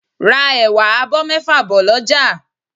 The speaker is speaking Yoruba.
Ra ẹ̀wà abọ́ mẹ́fà bọ̀ lọ́jà